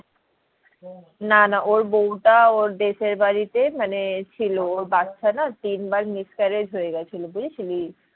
না না ওর বউটা ওর দেশের বাড়িতে ছিল মানে ওর বাচ্চা না তিন বার miscarriage হয়ে গিয়েছিলো বুঝেছিলি